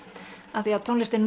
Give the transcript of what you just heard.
af því tónlist er